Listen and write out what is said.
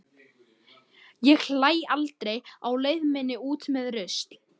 Ég hlæ aldrei á leið minni út með rusl.